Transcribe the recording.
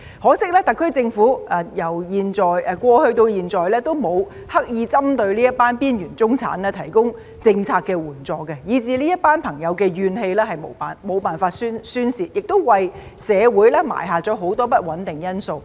可惜，特區政府由過去到現在都沒有刻意針對這群邊緣中產提供政策援助，以至這些朋友的怨氣無法宣泄，亦為社會埋下很多不穩定因素。